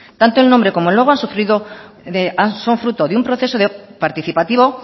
tanto el nombre como el logo son fruto de un proceso participativo